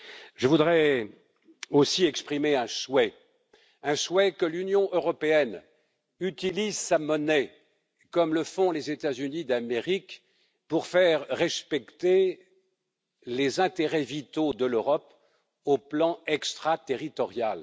Je voudrais aussi exprimer un souhait celui que l'Union européenne utilise sa monnaie comme le font les États Unis d'Amérique, pour faire respecter les intérêts vitaux de l'Europe sur le plan extraterritorial.